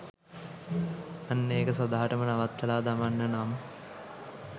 අන්න එක සදහටම නවත්තල දමන්න නම්